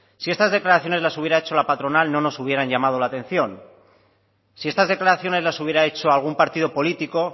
si estas declaraciones las hubiera hecho la patronal no nos hubieran llamado la atención si estas declaraciones las hubiera hecho algún partido político